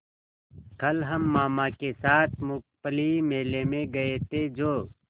कल हम मामा के साथ मूँगफली मेले में गए थे जो